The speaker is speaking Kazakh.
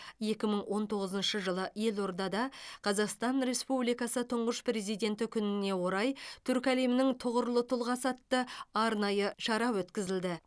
екі мың он тоғызыншы жылы елордада қазақстан республикасы тұңғыш президенті күніне орай түркі әлемінің тұғырлы тұлғасы атты арнайы шара өткізілді